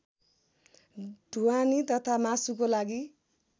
ढुवानी तथा मासुको लागि